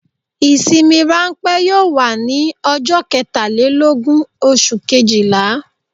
Ìsinmi ránpẹ́ yóò wà ní ọjọ́ ketàlélógún oṣù kejìlá